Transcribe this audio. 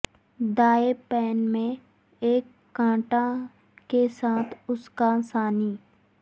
دائیں پین میں ایک کانٹا کے ساتھ اس کا سانی